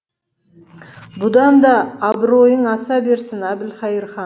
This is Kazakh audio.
бұдан да абыройың аса берсін әбілқайыр хан